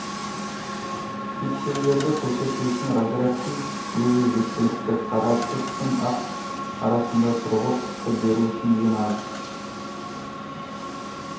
пикселдерді көрсету үшін разрядтың өзі жеткілікті қара түс пен ақ түс арасында сұрғылт түсті беру үшін ең аз